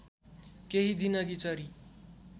केही दिनअघि चरी